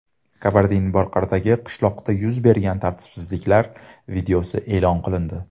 Kabardin-Bolqordagi qishloqda yuz bergan tartibsizliklar videosi e’lon qilindi .